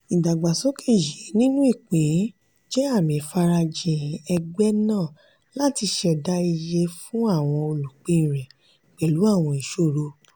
ìdàgbàsókè yìí nínú ìpín jẹ́ àmì ìfarajìn ẹgbẹ́ náà láti ṣẹ̀dá iye fún àwọn olùpín rẹ̀ pẹ̀lú àwọn ìṣòro.